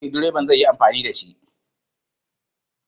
Eh, direba zai yi amfani da shi.